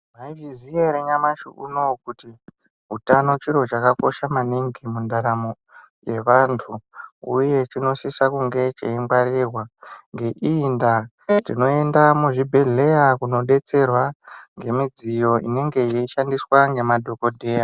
Maizviziya ere nyamashi unou kuti , utano chiro chakakosha maningi , mundaramo yevantu uye chinosisa kunge cheingwarirwa ngeiyi ndaa , tinoenda muzvibhodhlera kunobetserwa ngemidziyo inenge yeishandiswa ngemadhokodheya.